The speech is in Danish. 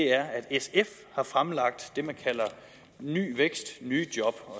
er at sf har fremlagt det man kalder ny vækst nye job